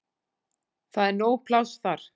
Það er nóg pláss þar.